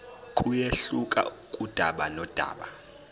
kuyehluka kudaba nodaba